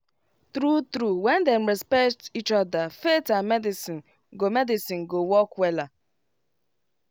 true true when dem respect each other faith and medicine go medicine go work wella